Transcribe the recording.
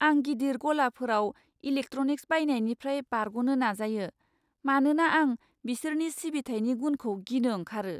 आं गिदिर गलाफोराव इलेक्ट्र'निक्स बायनायनिफ्राय बारग'नो नाजायो, मानोना आं बिसोरनि सिबिथायनि गुनखौ गिनो ओंखारो।